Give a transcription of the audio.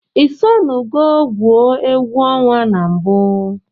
Isonugo gwụọ. egwu ọnwa na mbu?